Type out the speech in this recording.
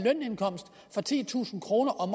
så titusind kroner om